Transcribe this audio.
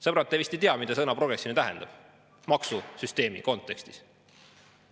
Sõbrad, te vist ei tea, mida sõna "progressiivne" tähendab maksusüsteemi kontekstis.